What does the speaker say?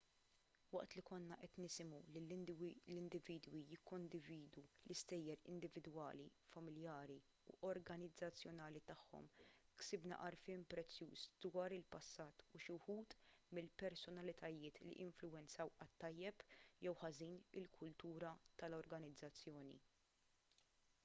waqt li konna qed nisimgħu lill-individwi jikkondividu l-istejjer individwali familjari u organizzazzjonali tagħhom ksibna għarfien prezzjuż dwar il-passat u xi wħud mill-personalitajiet li influwenzaw għat-tajjeb jew ħażin il-kultura tal-organizzazzjoni